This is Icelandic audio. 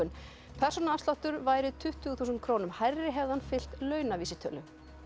persónuafsláttur væri tuttugu þúsund krónum hærri hefði hann fylgt launavísitölu